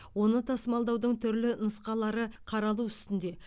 оны тасымалдаудың түрлі нұсқалары қаралу үстінде